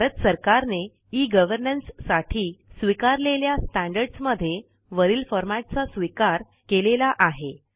भारत सरकारने e governance साठी स्वीकारलेल्या स्टँडर्ड्स मध्ये वरील फॉरमॅटचा स्वीकार केलेला आहे